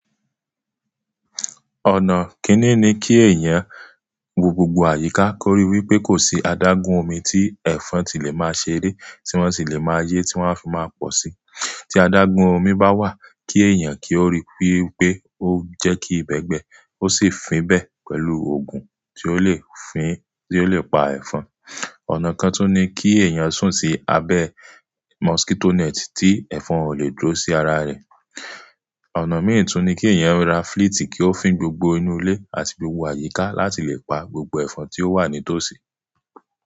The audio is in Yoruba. Ọ̀nà kíni ni kí èèyàn wo gbogbo àyíká kórí wípé kò sí adágún omi tí ẹ̀fọn tí lè máa ṣeré tí wọ́n sì lè máa yé tí wọ́n a fi máa pọ̀ sí. Tí adágún omi bá wà kí èèyàn kí ó ríi wípé ó jẹ́ kí ibẹ́ gbẹ́ ó sì fín ibẹ pẹ̀lú ògùn tí ó lè fín, tí ó lè pa ẹ̀fọn. Ọ̀nà kan tún ní kí èèyàn sùn sí abẹ́ mọskítoó nẹ́tì tí ẹ̀fọn ò lè dúró sí ara rẹ̀. Ọ̀nà míì tún ní kí èèyàn ra fliti kí ó fín gbogbo inú ilé àti gbogbo àyíká láti lè pa gbogbo ẹ̀fọn tí ó wà ní tòsí.